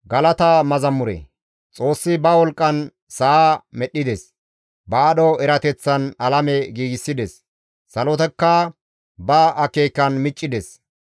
«Xoossi ba wolqqan sa7a medhdhides; ba aadho erateththan alame giigsides; salotakka ba akeekan miccides.